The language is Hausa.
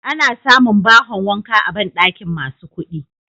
Ana samun bahon wanka a banɗakin masu kuɗi.